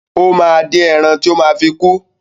Ó máa dín ẹran tó ma fi kú.